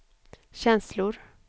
känslor